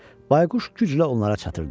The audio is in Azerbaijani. Bayquş güclə onlara çatırdı.